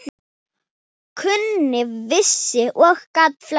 Kunni, vissi og gat flest.